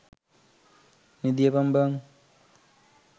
නිදියපන් බන්.